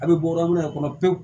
A bɛ bɔmana de kɔnɔ pewu